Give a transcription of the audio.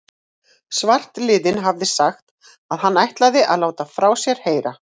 Svartliðinn hafði sagt, að hann ætlaði að láta frá sér heyra.